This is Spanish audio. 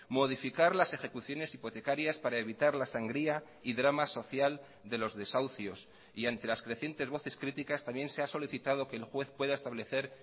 modificar las ejecuciones hipotecarias para evitar la sangría y drama social de los desahucios y ante las crecientes voces críticas también se ha solicitado que el juez pueda establecer